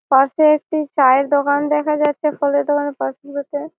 Fast এ একটি চায়ের দোকান দেখা যাচ্ছে। ফলের দোকানের পাশেই বসে --